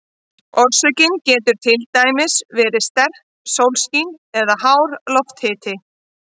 Orsökin getur til dæmis verið sterkt sólskin eða hár lofthiti.